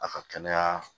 A ka kɛnɛya